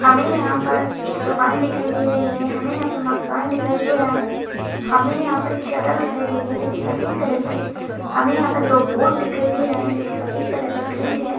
हमें यहां पर एक दुकान दिखाई दे रही है | हमें यहां पर मकान दिखाई दे रहा है | हमें यहां पर एक शटल दिखाई दे रही है जो कि सफेद कलर की है | हमें यहां पर दो बोर्ड दिखाई दे रहे हैं जो की सफेद कलर से पेंट है।